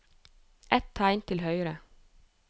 Ett tegn til høyre